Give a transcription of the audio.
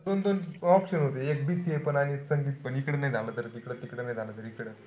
दोन-दोन option होते. एक BCA आणि एक संगीतपण. इकडचं नाई झालं तर तिकडचं. तिकडे नाई झालं त इकडं.